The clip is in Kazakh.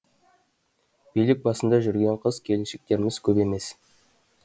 билік басында жүрген қыз келіншектеріміз көп емес